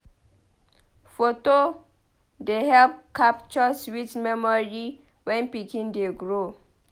Foto dey help capture sweet memory when pikin dey grow.